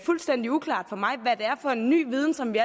fuldstændig uklart for mig hvad det er for en ny viden som vi